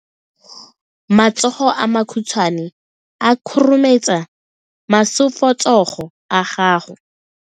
Matsogo a makhutshwane a khurumetsa masufutsogo a gago.